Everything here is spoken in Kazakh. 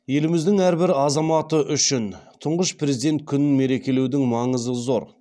еліміздің әрбір азаматы үшін тұңғыш президент күнін мерекелеудің маңызы зор